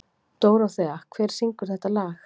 Dóróþea, hver syngur þetta lag?